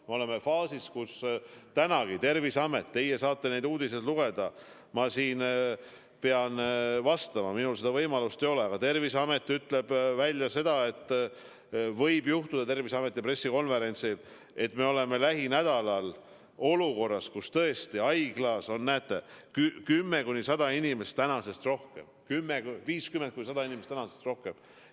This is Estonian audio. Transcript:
Me oleme faasis, kus – teie saate kohe neid uudiseid lugeda, ma pean siin vastama, minul seda võimalust ei ole – Terviseamet ütleb oma pressikonverentsil välja, et võib juhtuda, et me oleme kohe-kohe olukorras, kus haiglas kümme kuni 100 inimest tänasest rohkem või 50 kuni 100 inimest tänasest rohkem.